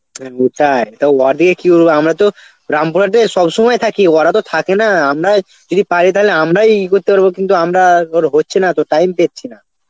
হ্যাঁ সেটাই, কি হবে আমরা তো রামপুরহাটে সব সময় থাকি ওয়ারা তো থাকে না আমরাই যদি পারি তাহলে আমরাই ই করতে পারব কিন্তু আমরা আবার হচ্ছে না তো time পেচ্ছি না.